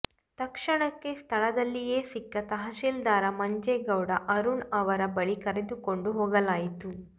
ತಕ್ಷಣಕ್ಕೆ ಸ್ಥಳದಲ್ಲಿಯೇ ಸಿಕ್ಕ ತಹಶೀಲ್ದಾರ್ ಮಂಜೇಗೌಡ ಅರುಣ್ ಅವರ ಬಳಿ ಕರೆದುಕೊಂಡು ಹೋಗಲಾಯಿತು